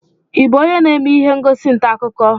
Ị bụ onye na-eme ihe ngosi ntaakụkọ?